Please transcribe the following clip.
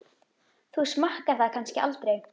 Þú smakkar það kannski aldrei?